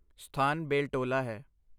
ਸਥਾਨ ਬੇਲਟੋਲਾ ਹੈ।